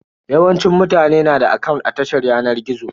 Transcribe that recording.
Yawancin mutane na da akant a tashar yanar gizo.